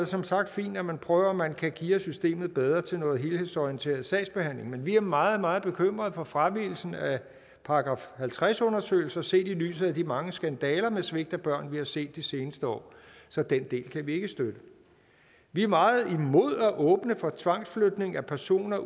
som sagt fint at man prøver om man kan geare systemet bedre til noget helhedsorienteret sagsbehandling men vi er meget meget bekymrede for fravigelsen af § halvtreds undersøgelser set i lyset af de mange skandaler med svigt af børn som vi har set de seneste år så den del kan vi ikke støtte vi er meget imod at åbne for tvangsflytning af personer